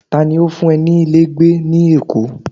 ta ni o fun e nílé gbé ni èkó